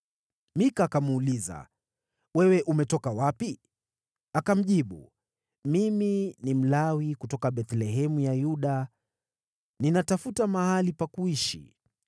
Mika akamuuliza, “Wewe umetoka wapi?” Akamjibu, “Mimi ni Mlawi kutoka Bethlehemu ya Yuda, ninatafuta mahali pa kuishi.”